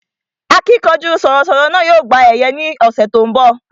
Akínkanjú sọ̀rọ̀ sọ̀rọ̀ náà yóò gba ẹ̀yẹ ní ọ̀sẹ̀ tí ó ń bọ̀